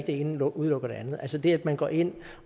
det ene udelukker det andet altså det at man går ind